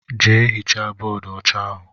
Jee hichaa bóódú ọcha ahụ!!!!